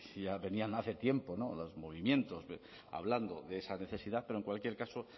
ya venían hace tiempo o los movimientos hablando de esa necesidad pero en cualquier caso